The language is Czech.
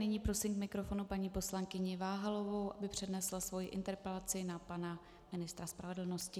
Nyní prosím k mikrofonu paní poslankyni Váhalovou, aby přednesla svoji interpelaci na pana ministra spravedlnosti.